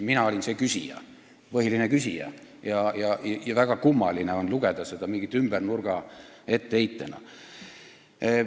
Mina olin see põhiline küsija ja väga kummaline on seda lugeda mingi ümbernurga etteheitena.